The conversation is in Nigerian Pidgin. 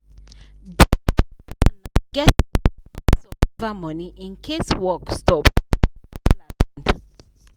di correct plan na to get six months survival money in case work stop or wahala land.